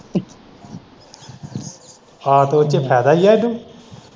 ਆਹੋ ਤੇ ਉੱਦੇ ਚ ਫਾਇਦਾ ਹੀ ਏ ਇਹਨੂੰ।